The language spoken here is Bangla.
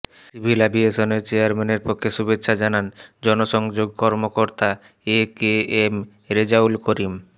সিভিল এভিয়েশনের চেয়ারম্যানের পক্ষে শুভেচ্ছা জানান জনসংযোগ কর্মকর্তা A K M Rezaul Karim